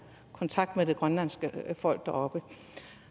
kontakt med det grønlandske folk deroppe